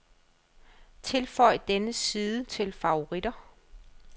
Tilføj denne side til favoritter.